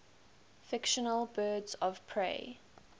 fictional birds of prey